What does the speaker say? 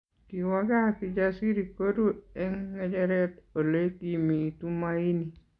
Kiwo gaa Kijasiri koru eng ngecheret Ole kimi Tumaini